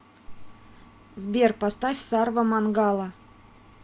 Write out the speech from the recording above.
сбер поставь сарва мангала